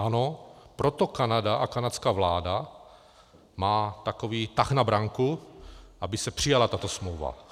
Ano, proto Kanada a kanadská vláda má takový tah na branku, aby se přijala tato smlouva.